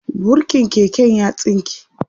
burkin keken ya tsinke